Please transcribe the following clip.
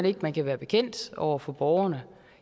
ikke at man kan være bekendt over for borgerne